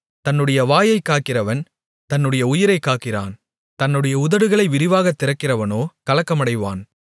தன்னுடைய வாயைக் காக்கிறவன் தன்னுடைய உயிரைக் காக்கிறான் தன்னுடைய உதடுகளை விரிவாகத் திறக்கிறவனோ கலக்கமடைவான்